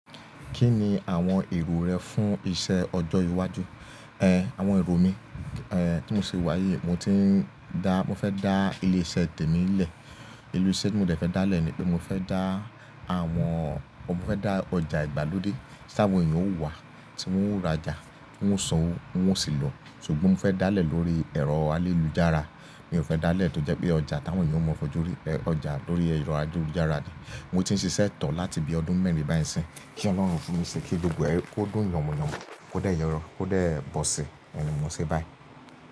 Kí ni àwọn èrò rẹ fún iṣẹ́ ọjọ́ iwájú? Ẹn, àwọn èrò mi, ẹ́, tí mò ń ṣe wá yìí, mò tí ń dá, mò fẹ́ dá ilé-iṣẹ́ temi nlẹ̀. Ilé-iṣẹ́ tí mò dẹ̀ fẹ́ dá lè ní pé mò fẹ́ dá àwọn, mò fẹ́ dá ọjà ìgbàlódé tí àwọn èeyàn ó wá, tí wọ́n ó rajà, tí wọ́n ó sanwó, wọ́n ó sì lò. Ṣùgbọ́n mò fẹ́ dá lè lórí ẹ̀rọ ayélujára. Mi ò fẹ́ dá lè tó jẹ́ pé ọjà táwọn èeyàn mọ̀ fojúrí, ẹ́, ọjà lórí ẹ̀rọ ayélujára ni. Mo ti ń ṣiṣẹ́ to láti bí ọdún mẹ́rin báyìí nsín. Kí Ọlọ́run fún mi ṣé kí gbogbo ẹ́, kó dùn yànmúyànmú, kó dé yọ rọ, kó dé ẹ bọ̀sí. Ẹ ni mò ń ṣe báyìí.